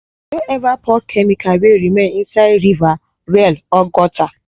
no ever pour chemical wey remain inside river well or gutter.